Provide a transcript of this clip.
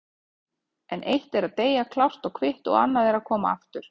En eitt er að deyja klárt og kvitt og annað að koma aftur.